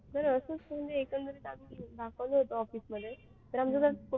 बरं असंच म्हणजे एकंदरीत आम्ही दाखवलं होतं office मध्ये हम्म